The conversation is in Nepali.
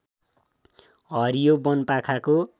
हरियो वनपाखाको